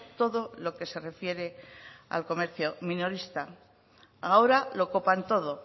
todo lo que se refiere al comercio minorista ahora lo copan todo